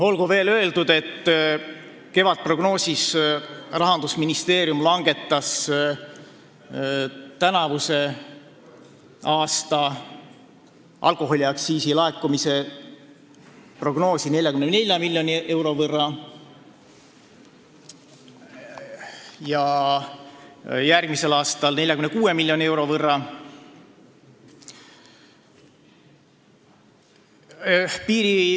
Olgu veel öeldud, et Rahandusministeerium langetas kevadprognoosis tänavuse aasta alkoholiaktsiisi laekumise prognoosi 44 miljoni euro võrra ja järgmise aasta oma 46 miljoni euro võrra.